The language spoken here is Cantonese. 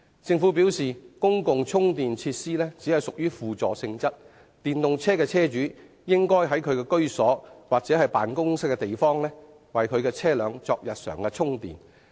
政府表示公共充電設施只屬於輔助性質，電動車的車主應在其居所或辦公地方為其車輛作日常充電。